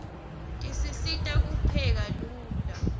tisisita kupheka lula